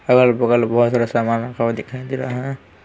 अगल-बगल बहुत सारा सामान दिखाई दे रहा है।